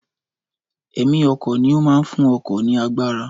Ẹ̀mí ọkọ̀ ni ó máa ń fún ọkọ̀ ní agbára